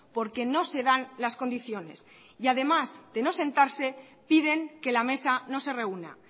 porque no se dan las condiciones y además de no sentarse piden que la mesa no se reúna